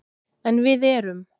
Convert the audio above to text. En við erum